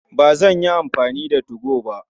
Ba zan yi amfani da 2go ba.